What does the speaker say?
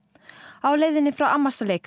á leiðinni frá